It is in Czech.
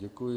Děkuji.